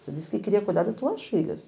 Você disse que queria cuidar das tuas filhas.